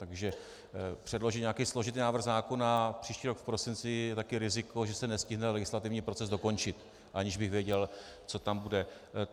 Takže předložit nějaký složitý návrh zákona příští rok v prosinci je taky riziko, že se nestihne legislativní proces dokončit, aniž bych věděl, co tam bude.